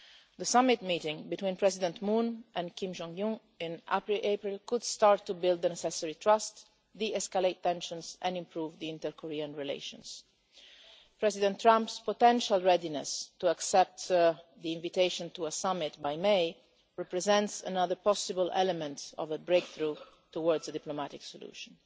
The summit meeting between President Moon and Kim Jong Un in April could start to build the necessary trust, de-escalate tensions and improve inter Korean relations. President Trump's potential readiness to accept the invitation to a summit by the month of May represents another possible element of a breakthrough towards a diplomatic solution.